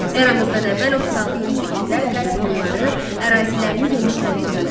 Eramızdan əvvəl 36-cı ildə qərb Hunları ərazilərini genişləndirdilər.